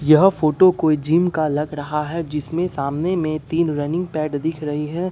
यह फोटो कोई जिम का लग रहा है जिसमें सामने में तीन रनिंग पैड दिख रही है।